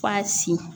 F'a sin